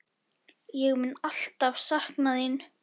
Ég mun alltaf sakna þín.